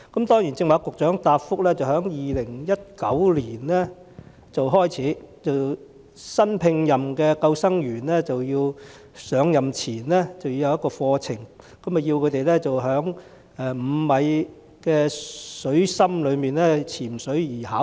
局長剛才在答覆指出，由2019年開始，新聘任的救生員在上任前需要接受入職課程，要求他們通過徒手潛水至5米水深處的考核。